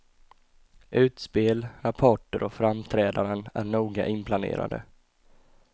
Utspel, rapporter och framträdanden är noga inplanerade.